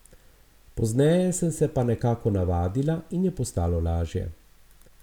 Pozneje sem se pa nekako navadila in je postalo lažje.